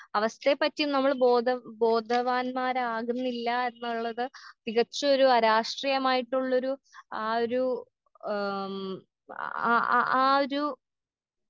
അവസ്ഥയെ പറ്റിയും നമ്മൾ ബോധ ബോധവാന്മാരാകുന്നില്ലാ എന്നുള്ളത് തികച്ചൊരു അരാഷ്ട്രീയമായിട്ടുള്ളൊരു ആ ഒരു ആം ആ ആ ആ ആ ആ ഒരു.